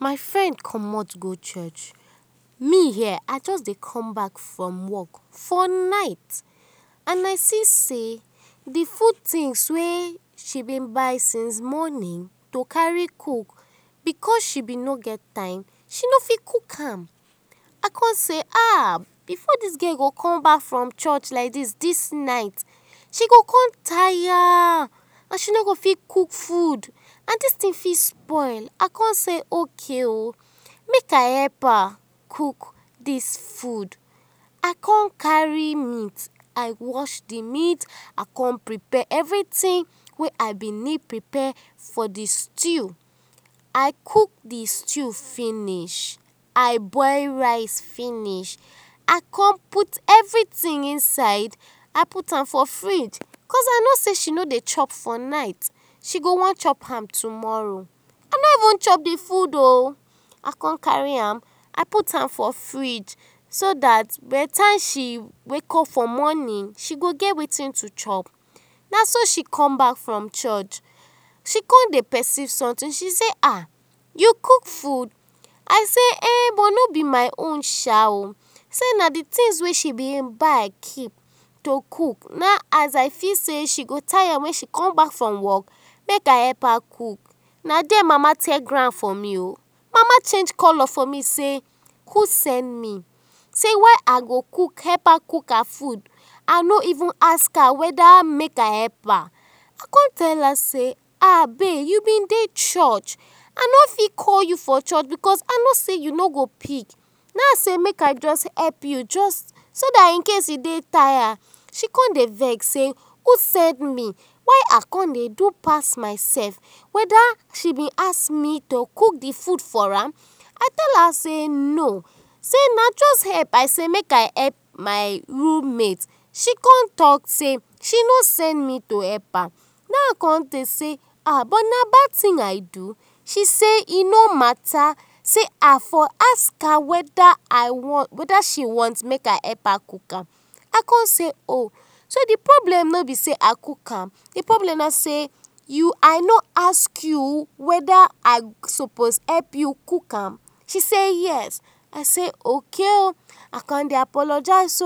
My friend commot go church, me here I just dey come back from work, for night and I see sey d food things wey she bin buy since morning to carry cook, because she bin no get time, she no fit cook am, I con say ahh before dis girl go come back from church like dis night she go don tire and she no go fit cook food, and dis thing go fit spoil, I con say ok oh, make I help her cook dis food, I con carry meat, I wash d meat, I con prepare everything wey I been need prepare for d stew, I cook d stew finish, I boil rice finish I con put everything inside I put am for fridge because I know sey she no dey chop for night she go wan chop am tomorrow, I no even chop d food o, I con carry am, I put am for fridge so dat by d time she wake up for morning she go get wetin to chop, naso she come back from church, she con dey perceive something she say ahh u cook food, I sey[um]no b my own sha oh, sey na d things wey she been buy keep to cook, nah in as I feel sey she go tire wen she comeback from work ha hin I sey make I help her cook, na there mama tear ground for me o, mama change colour for me sey who send me, sey why I go cook help her cook her food I no even ask her weda make I help, I con tell her sey ahh babe u bin dey church I no fit call u for church because I no sey you no go pick, nah I say make I jus help u jus so dat incase u dey tired, she con dey vex sey who send me, why I con dey do pass my self, weda she bin ask me to cook d food for am, I tell her sey no na jus help I say make I help my roommate, she con talk say she no send me to help her, na hin con tok sey but na bad thing I do, she sey e no matter sey I for ask her weda I wan weda she want make I help her cook am, I con sey ohh, so di problem no be sey I cook am, di problem na sey I no ask you weda I suppose help u cook am, she say yes, I sey ok oh, I con dey apologize